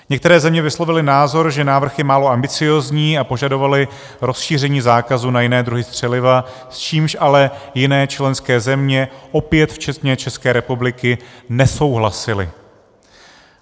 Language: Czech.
Některé země vyslovily názor, že návrh je málo ambiciózní, a požadovaly rozšíření zákazu na jiné druhy střeliva, s čímž ale jiné členské země - opět včetně České republiky - nesouhlasily.